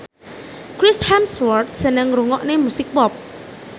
Chris Hemsworth seneng ngrungokne musik pop